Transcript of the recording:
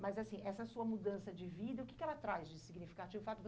Mas, assim, essa sua mudança de vida, o que que ela traz de significativo? O fato